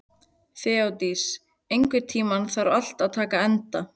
Þeódís, einhvern tímann þarf allt að taka enda.